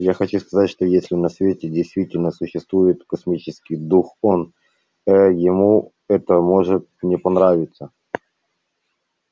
я хочу сказать что если на свете действительно существует космический дух он ээ ему это может не понравиться